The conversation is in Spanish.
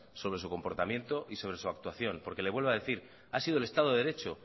sobre su comportamiento y sobre su actuación porque le vuelvo a decir ha sido el estado de derecho